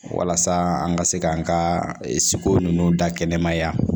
Walasa an ka se k'an ka siko ninnu da kɛnɛma yan